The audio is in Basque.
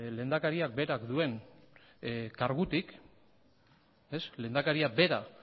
lehendakariak berak duen kargutik lehendakaria bera